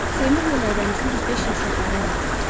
Seymurla Aybənizin düz beş il uşaqları olmadı.